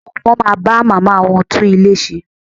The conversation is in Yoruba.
Àwọn ọmọ máa bá màmá wọ́n tún ilé ṣe.